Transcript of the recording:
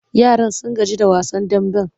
Yaran sun gaji da wasan damben.